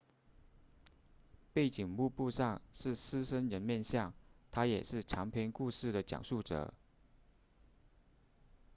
背景幕布上是狮身人面像它也是长篇故事的讲述者